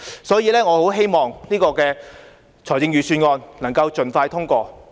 所以，我很希望預算案能夠盡快通過。